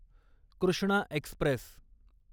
Krishna Express